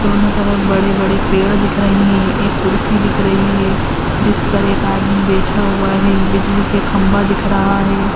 बड़े-बड़े पेड़ दिख रहे हैं। एक कुर्सी दिख रही है जिसपर एक आदमी बैठा हुआ है। बिजली के खम्भा दिख रहा है।